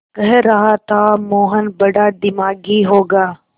कह रहा था मोहन बड़ा दिमागी होगा